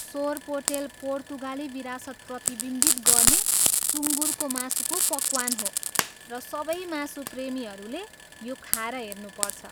सोरपोटेल पोर्तुगाली विरासत प्रतिबिम्बित गर्ने सुँगुरको मासुको पकवान हो र सबै मासु प्रेमीहरूले यो खाएर हेर्नुपर्छ।